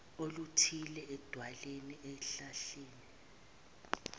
oluthize edwaleni esihlahleni